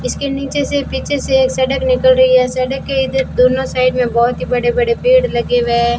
इसके नीचे से पीछे से सड़क निकल रही है सड़क के इधर दोनों साइड में बहुत ही बड़े बड़े पेड़ लगे हुए --